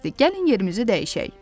Gəlin yerimizi dəyişək.